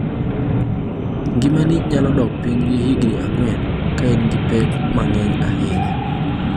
Ngimani nyalo dok piny gi higni ang’wen ka in gi pek mang’eny ahinya kata ka in gi pek mang’eny ahinya